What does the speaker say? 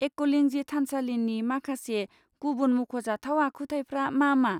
एकलिंजी थानसालिनि माखासे गुबुन मख'जाथाव आखुथायफ्रा मा मा?